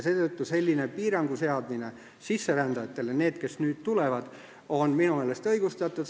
Seetõttu on selline piirangu seadmine sisserändajatele – nendele, kes nüüd tulevad – minu meelest õigustatud.